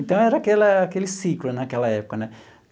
Então, era aquela aquele ciclo naquela época, né?